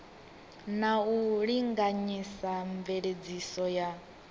na u linganyisa mveledziso ya